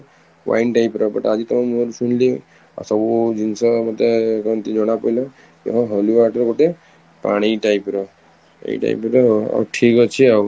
wine type ର but ଆଜି ତମ ମୁହଁ ରୁ ଶୁଣିଲି ଆଉ ସବୁ ଜିନିଷ ମତେ ଜଣାପଡିଲା ତ holy water ଗୋଟେ ପାଣି type ର ଏଇ type ର ଆଉ ଠିକ ଅଛି ଆଉ